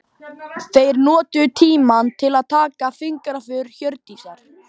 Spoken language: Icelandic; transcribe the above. Þeir notuðu tímann til að taka fingraför Hjördísar.